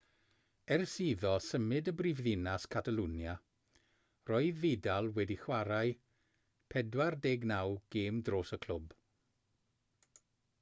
ers iddo symud i brifddinas catalwnia roedd vidal wedi chwarae 49 gêm dros y clwb